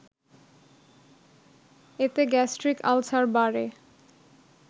এতে gastric ulcer বাড়ে